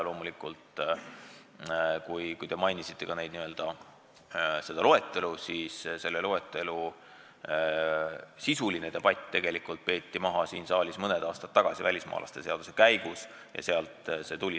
Loetelust veel nii palju, et selle loeteluga seotud sisuline debatt peeti siin saalis maha mõni aasta tagasi välismaalaste seadust arutades – sealt see tuli.